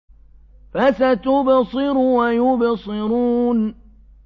فَسَتُبْصِرُ وَيُبْصِرُونَ